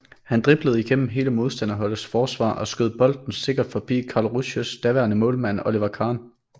Han driblede igennem hele modstanderholdets forsvar og skød bolden sikkert forbi Karlsruhes daværende målmand Oliver Kahn